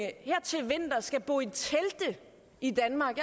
at skal bo i telte i danmark